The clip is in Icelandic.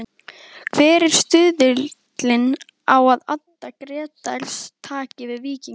Hver er stuðullinn á að Addi Grétars taki við Víkingi?